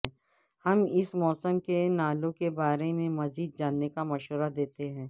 ہم اس موسم کے ناولوں کے بارے میں مزید جاننے کا مشورہ دیتے ہیں